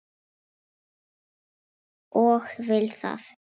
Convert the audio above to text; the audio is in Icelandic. Og vill það.